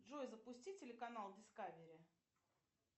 джой запусти телеканал дискавери